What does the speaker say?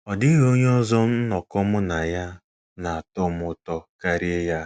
Ọ dịghị onye ọzọ nnọkọ mụ na ya na - atọ m ụtọ karịa ya.